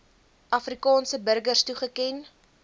afrikaanse burgers toegeken